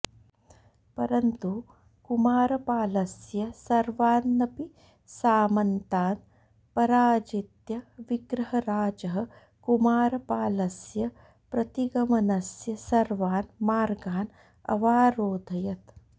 परन्तु कुमारपालस्य सर्वान्नपि सामन्तान् पराजित्य विग्रहराजः कुमारपालस्य प्रतिगमनस्य सर्वान् मार्गान् अवारोधयत्